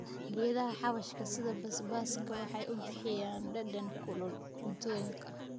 Geedaha xawaashka sida basbaaska waxay bixiyaan dhadhan kulul cuntooyinka.